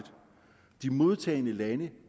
de modtagende lande